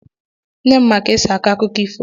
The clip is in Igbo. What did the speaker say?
Nne m ma jka esi akọ akụkọ ifo.